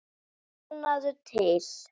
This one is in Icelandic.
Þögnina við hugann.